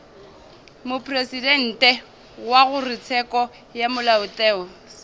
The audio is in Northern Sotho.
mopresidente wa kgorotsheko ya molaotheo